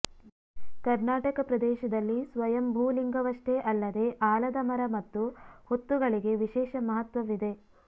ಕರ್ನಾಟಕ ಪ್ರದೇಶದಲ್ಲಿ ಸ್ವಯಂಭೂ ಲಿಂಗವಷ್ಟೇ ಅಲ್ಲದೆ ಆಲದ ಮರ ಮತ್ತು ಹುತ್ತುಗಳಿಗೆ ವಿಶೇಷ ಮಹತ್ವವಿದೆ